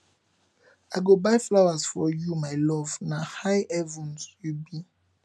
i go buy flowers for you my love na high heaven you be